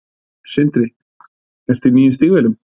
Sindri: Ertu í nýjum stígvélum?